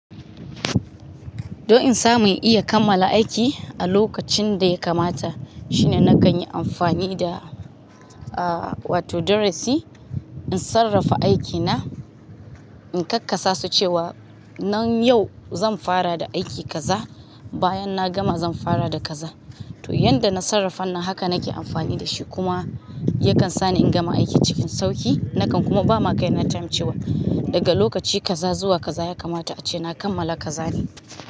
Don in samu iya kammala aiki a lokacin da ya kamata shine na gani amfani da, aa wato darasi in sarrafa aikina, in kakkaasa cewa nan yau zan fara da aiki kaza bayan na gama zan fara da kaza. To yanda na sarrafa nan haka nake amfani da shi kuma yakan sa ni in gama aiki cikin sauki nakan kuma ba ma kai na tamcewa. Daga lokaci kaza zuwa kaza ya kamata ace na kammala kazane.